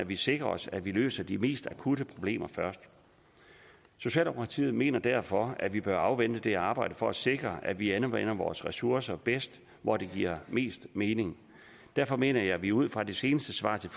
vi sikrer at vi løser de mest akutte problemer først socialdemokratiet mener derfor at vi bør afvente det arbejde for at sikre at vi anvender vores ressourcer bedst og hvor det giver mest mening derfor mener jeg at vi at ud fra det seneste svar til